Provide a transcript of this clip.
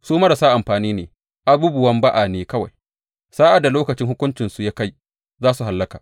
Su marasa amfani ne, abubuwan ba’a ne kawai; sa’ad da lokacin hukuncinsu ya kai, za su hallaka.